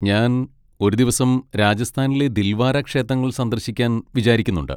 ഞാൻ ഒരു ദിവസം രാജസ്ഥാനിലെ ദിൽവാര ക്ഷേത്രങ്ങൾ സന്ദർശിക്കാൻ വിചാരിക്കുന്നുണ്ട്.